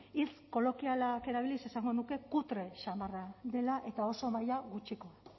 hitz kolokialak erabiliz esango nuke kutre samarra dela eta oso maila gutxikoa